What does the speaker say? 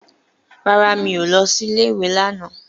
Rárá, mi ò lọ sí ilé ìwé lánàá.